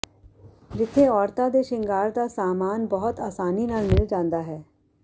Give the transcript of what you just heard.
ਜਿੱਥੇ ਔਰਤਾਂ ਦੇ ਸ਼ਿੰਗਾਰ ਦਾ ਸਾਮਾਨ ਬਹੁਤ ਆਸਾਨੀ ਨਾਲ ਮਿਲ ਜਾਂਦਾ ਹੈ